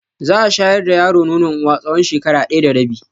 Za a shayar da yaro nonon uwa tsawon shekara ɗaya da rabi.